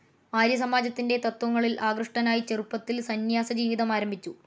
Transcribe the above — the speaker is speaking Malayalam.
ആര്യസമാജത്തിന്റെ തത്ത്വങ്ങളിൽ ആകൃഷ്ടനായി ചെറുപ്പത്തിൽ സന്ന്യാസ ജീവിതം ആരംഭിച്ചു.